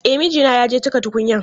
E, mijina ya je cika tukunyan.